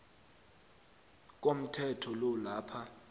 komthetho lo lapha